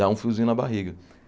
Dá um friozinho na barriga.